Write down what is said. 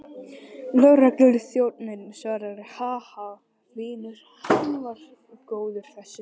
Lögregluþjónninn svaraði, Ha, ha, vinur, hann var góður þessi.